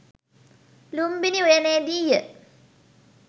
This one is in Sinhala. ලුම්බිණි උයනේදී ය.